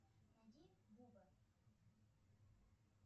найди буба